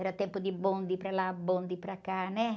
Era tempo de bonde para lá, bonde para cá, né?